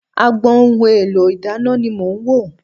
Agbọn ohun èlò ìdáná ni mò ń wò.